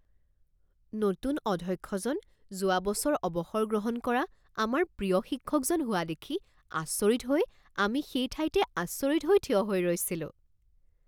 নতুন অধ্যক্ষজন যোৱা বছৰ অৱসৰ গ্ৰহণ কৰা আমাৰ প্ৰিয় শিক্ষকজন হোৱা দেখি আচৰিত হৈ আমি সেই ঠাইতে আচৰিত হৈ থিয় হৈ ৰৈছিলোঁ।